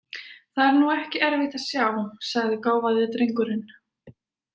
Það er nú ekki erfitt að sjá, sagði gáfaði drengurinn.